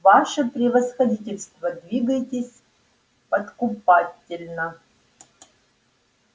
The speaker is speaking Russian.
ваше превосходительство двигайтесь подкупательно